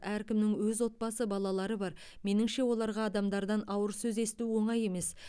әркімнің өз отбасы балалары бар меніңше оларға адамдардан ауыр сөз есту оңай емес